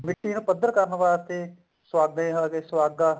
ਮਿੱਟੀ ਨੂੰ ਪੱਧਰ ਕਰਨ ਵਾਸਤੇ ਸੁਹਾਗੇ ਆ ਗਏ ਸੁਹਾਗਾ